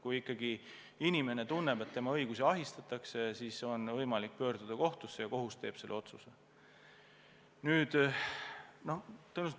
Kui ikka inimene tunneb, et tema õigusi ahistatakse, siis on tal võimalik pöörduda kohtusse ja kohus siis langetab otsuse.